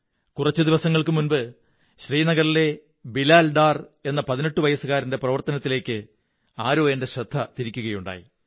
കുറച്ചു ദിവസങ്ങള്ക്കു മുമ്പ് ശ്രീനഗറിലെ ബിലാൽ ഡാർ എന്ന 18 വയസ്സുകാരന്റെ പ്രവര്ത്തിനത്തിലേക്ക് ആരോ എന്റെ ശ്രദ്ധ തിരിക്കയുണ്ടായി